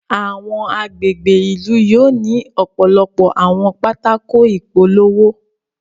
Awọn agbègbè ìlú yóò ni ọpọlọpọ àwọn pátákó ìpolówó